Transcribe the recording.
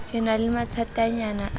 ke na le mathatanyana a